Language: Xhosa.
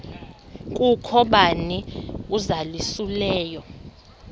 kukho bani uzalusileyo